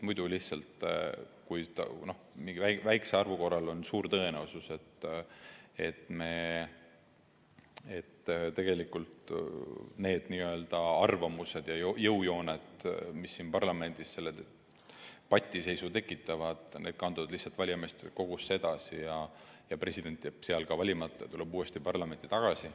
Muidu lihtsalt mingi väikese arvu korral on suur tõenäosus, et tegelikult need arvamused ja jõujooned, mis siin parlamendis selle patiseisu tekitavad, kanduvad valijameeste kogusse edasi ja president jääb ka seal valimata ja tuleb uuesti parlamenti tagasi.